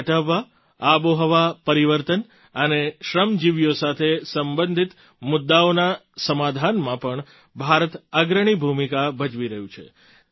ગરીબી હટાવવા આબોહવા પરિવર્તન અને શ્રમજીવીઓ સાથે સંબંધિત મુદ્દાઓના સમાધાનમાં પણ ભારત અગ્રણી ભૂમિકા ભજવી રહ્યું છે